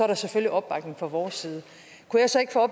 der selvfølgelig opbakning fra vores side kunne jeg så ikke få